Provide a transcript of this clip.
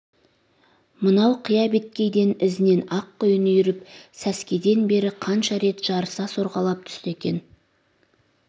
мынау қия беткейден ізінен ақ құйын үйіріп сәскеден бер қанша рет жарыса сорғалап түсті екен